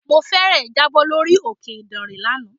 Mo fẹ́ẹ̀rẹ̀ jábọ̀ lórí òkè ìdànrè lánàá.